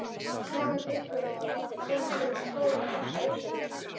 Snjór var upp fyrir skóvarp, lausamjöll.